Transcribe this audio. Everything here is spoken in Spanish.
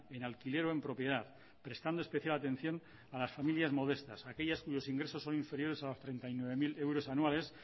en alquiler o en propiedad prestando especial atención a las familias modestas aquellas cuyos ingresos son inferiores a treinta y nueve mil euros anuales